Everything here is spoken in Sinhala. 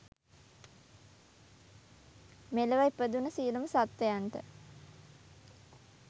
මෙලොව ඉපදුන සියලුම සත්වයන්ට